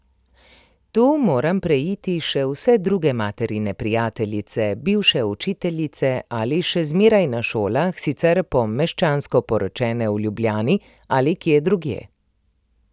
Tu moram preiti še vse druge materine prijateljice, bivše učiteljice ali še zmeraj na šolah, sicer pa meščansko poročene v Ljubljani ali kje drugje.